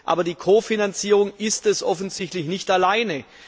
Aber die Kofinanzierung ist es offensichtlich nicht alleine.